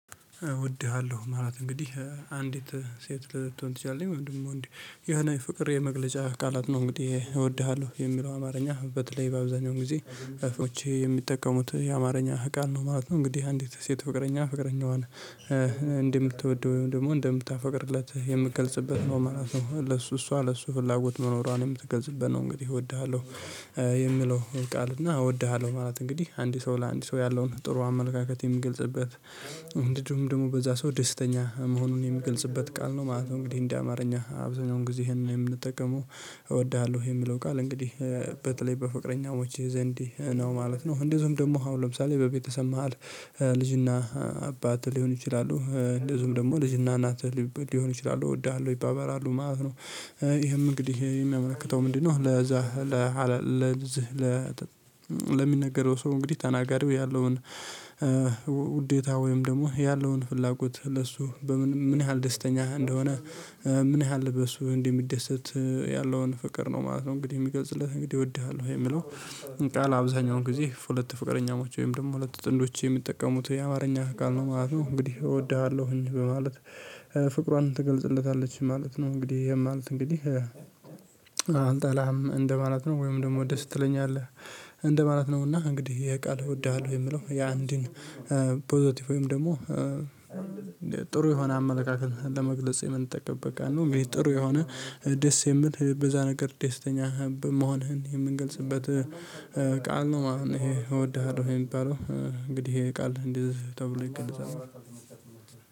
እወድሃለሁ ማለት እንግዲህ አንዲት ሴት ልትሆን ትችላለች ወይንም ደግሞ ወንድ የሆነ የፍቅር የመግለጫ ቃላት ነው እንግዲህ እወድሃለሁ የሚለው አማርኛ በተለይ በአብዛኛው ጊዜ የሚጠቀሙት የአማርኛ ቃል ነው። ነው እንግዲህ አንዲት ሴት ፍቅረኛ ፍቅረኛዋን እንደምትወደው ወይም ደግሞ እንደምታፈቅርለት የምትገልጽበት ነው ማለት ነው። ለሱ እሷ ለሱ ፍላጎት መኖሯን የምትገልጽበት ነው። እንግዲህ እወድሃለሁ የሚለውን ቃል እና እወድሃለሁ ማለት እንግዲህ አንድ ሰው ለአንድ ሰው ያለውን ጥሩ አመለካከት የሚገልጽበት እንዲሁም ደግሞ በዛ ሰው ደስተኛ መሆኑን የሚገልጽበት ቃል ነው ማለት ነው። እንግዲህ እንደ አማርኛ አብዛኛውን ጊዜ ይሄንን የምንጠቀመው እወድሃለሁ የሚለው ቃል እንግዲህ በተለይ በፍቅረኛዎች ዘንድ ነው ማለት ነው። እንደዚሁም ደግሞ አሁን ለምሳሌ በቤተሰብ መሃል ልጅና አባት ሊሆኑ ይችላሉ እንደዚሁም ደግሞ ልጅና ናት ሊሆኑ ይችላሉ እወድሃለሁ ይባበላሉ ማለት ነው። ይሄም እንግዲህ የሚያመለክተው ምንድነው? አሁን ለዛ ለሚነገረው ሰው እንግዲህ ተናጋሪው ያለውን ውዴታ ወይም ደግሞ ያለውን ፍላጎት ለሱ በምን ምን ያህል ደስተኛ እንደሆነ ምን ያህል በሱ እንደሚደሰት ያለውን ፍቅር ነው ማለት ነው። እንግዲህ የሚገልጽለት እንግዲህ እወድሃለሁ የሚለው ቃል አብዛኛውን ጊዜ ሁለት ፍቅረኛዎች ወይም ደግሞ ሁለት ጥንዶች የሚጠቀሙት የአማርኛ ቃል ነው ማለት ነው። እንግዲህ እወድሃለሁኝ በማለት ፍቅሯን ትገልጽለታለች ማለት ነው። እንግዲህ ይሄም ማለት እንግዲህ አልጠላህም እንደማለት ነው። ወይም ደግሞ ደስ ትለኛለህ ማለት ነውና እንግዲህ ይሄ ቃል እወድሃለሁ የምለው የአንድን ፖዘቲቭ ወይም ደግሞ ጥሩ የሆነ አመለካከት ለመግለጽ የምንጠቀምበት ቃል ነው። ጥሩ የሆነ ደስ የሚል በዛ ነገር ደስተኛ መሆንህን የምንገልጽበት ቃል ነው። ማለት እኔ እወድሃለሁ ይሄ የሚባለው እንግዲህ ይሄ ቃል እንደዚህ ተብሎ ይገነዘባል።